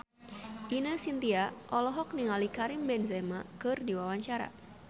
Ine Shintya olohok ningali Karim Benzema keur diwawancara